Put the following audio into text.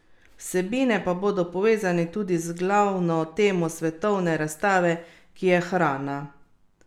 Vsebine pa bodo povezane tudi z glavno temo svetovne razstave, ki je hrana.